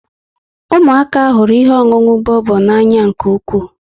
Ụmụaka hụrụ ihe ọṅụṅụ bobo n'anya nke ukwu